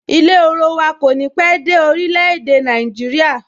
Ilé orowa kò ní pé dé orile-ede Naijiria